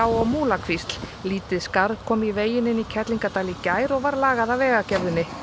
og Múlakvísl lítil skarð kom í veginn inn í Kerlingardal í gær og var lagað af Vegagerðinni